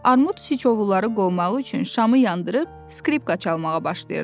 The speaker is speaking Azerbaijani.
Armud siçovulları qovmaq üçün şamı yandırıb skripka çalmağa başlayırdı.